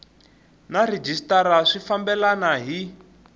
na rhejisitara swi fambelena hi